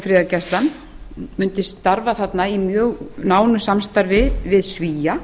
friðargæslan mundi starfa þarna í mjög nánu samstarfi við svía